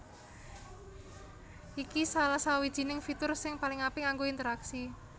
Iki salah sawijining fitur sing paling apik kanggo interaksi